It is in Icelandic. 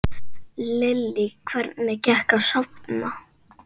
Lillý: Hvernig gekk að safna?